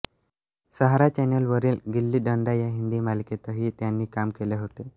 सहारा चॅनलवरील गिल्ली डंडा या हिंदी मालिकेतही त्यांनी काम केले होते